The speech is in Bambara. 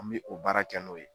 An mi o baara kɛ n'o ye